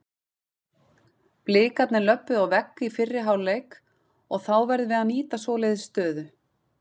Blikarnir löbbuðu á vegg í fyrri hálfleik og þá verðum við að nýta svoleiðis stöðu.